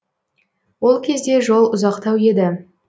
ол кезде жол ұзақтау еді